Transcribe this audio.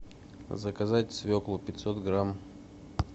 заказать свеклу пятьсот грамм